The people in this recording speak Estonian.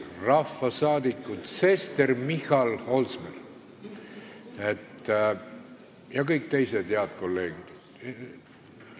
Rahvasaadikud Sester, Michal, Holsmer ja kõik teised head kolleegid!